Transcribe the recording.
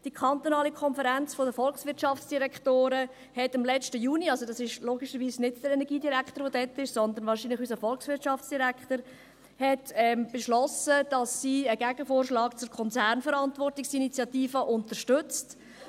Die Konferenz Kantonaler Volkswirtschaftsdirektoren (VDK) beschloss im letzten Juni – dort war logischerweise nicht unser Energiedirektor dabei, sondern wahrscheinlich unser Volkswirtschaftsdirektor –, dass sie einen Gegenvorschlag zur Konzernverantwortungsinitiative unterstützt.